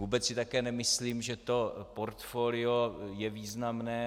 Vůbec si také nemyslím, že to portfolio je významné.